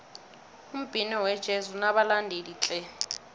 umbhino wejezi unabalandeli tle